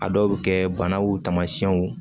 A dɔw bɛ kɛ banaw tamasiyɛnw